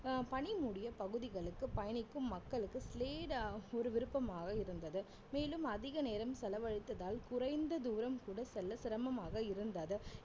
அஹ் பனி மூடிய பகுதிகளுக்கு பயணிக்கும் மக்களுக்கு slide ஆ ஒரு விருப்பமாக இருந்தது மேலும் அதிக நேரம் செலவழித்ததால் குறைந்த தூரம் கூட செல்ல சிரமமாக இருந்தாது